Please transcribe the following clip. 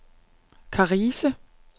Karise